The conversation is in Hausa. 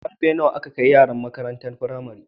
Karfe nawa ake kai yara makarantar pramari